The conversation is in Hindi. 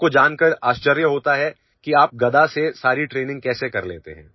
लोगों को जानकर आश्चर्य होता है कि आप गदा से सारी ट्रेनिंग कैसे कर लेते हैं